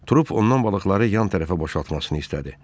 Trup ondan balıqları yan tərəfə boşaltmasını istədi.